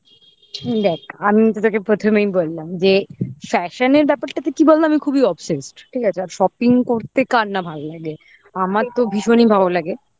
দ্যাখ আমি তো তোকে প্রথমেই বললাম যে fashion এর ব্যাপারটাতে কি বললাম আমি খুবই obsessed ঠিক আছে আর shopping করতে কার না ভালো লাগে আমার তো ভীষণই ভালো লাগে